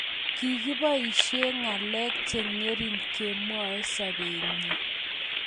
Kikiboisie ngalek chengering kemwoe sobenyi,